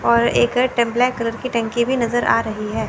और एक टेम्पला कलर की टंकी नज़र आ रही है।